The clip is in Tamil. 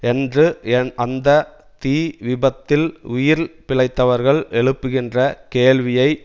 என்று என் அந்த தீ விபத்தில் உயிர் பிழைத்தவர்கள் எழுப்புகின்ற கேள்வியை